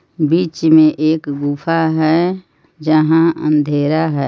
बिच मे एक गुफा हे जहाँ अंधेरा है.